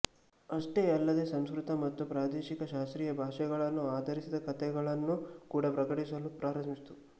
ಅಷ್ಟೇ ಅಲ್ಲದೇ ಸಂಸ್ಕೃತ ಮತ್ತು ಪ್ರಾದೇಶಿಕ ಶಾಸ್ತ್ರೀಯ ಭಾಷೆಗಳನ್ನು ಆಧರಿಸಿದ ಕಥೆಗಳನ್ನು ಕೂಡ ಪ್ರಕಟಿಸಲು ಪ್ರಾರಂಭಿಸಿತು